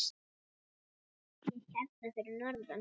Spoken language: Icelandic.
Ég er hérna fyrir norðan.